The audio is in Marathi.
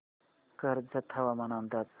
कर्जत हवामान अंदाज